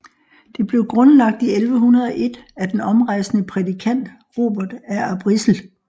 Det blev grundlagt i 1101 af den omrejsende prædikant Robert af Arbrissel